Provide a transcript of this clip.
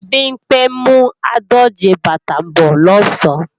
Bimpé ń mú àádòje bàtà bọ́ọ̀ lọ̀sán